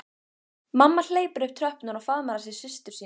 Mamma hleypur upp tröppurnar og faðmar að sér systur sína.